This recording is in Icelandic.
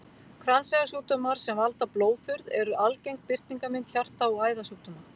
Kransæðasjúkdómar sem valda blóðþurrð eru algeng birtingarmynd hjarta- og æðasjúkdóma.